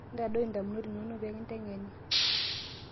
intadoi indamunot inonok pee kindeng'eni